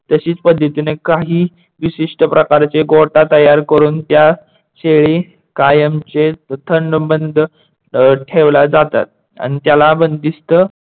तशीच पद्धतीने काही विशिष्ट प्रकारचे गोठा तयार करून त्या शेळी कायमचे थंदबंद ठेवला जातात आणि त्याला बंदिस्त